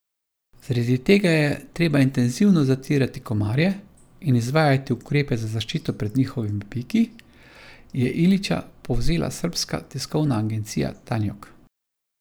Zaradi tega je treba intenzivno zatirati komarje in izvajati ukrepe za zaščito pred njihovimi piki, je Ilića povzela srbska tiskovna agencija Tanjug.